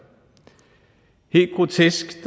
helt grotesk